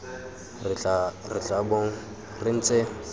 re tla bong re ntse